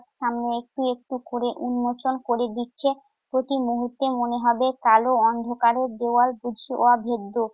সামনে একটু একটু করে উন্মোচন করে দিচ্ছে। প্রতিমূহুর্তে মনে হবে কালো অন্ধকারের দেয়াল বুঝি অভেদ্য।